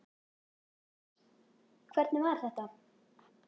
Jóhannes: Hvernig var þetta?